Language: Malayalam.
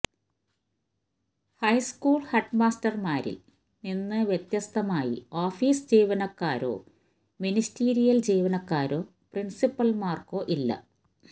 ഹൈസ്കൂള് ഹെഡ്മാസ്റ്റര്മാരില് നിന്ന് വ്യത്യസ്തമായി ഓഫീസ് ജീവനക്കാരോ മീനിസ്റ്റീരിയല് ജീവനക്കാരോ പ്രിന്സിപ്പല്മാര്ക്ക് ഇല്ല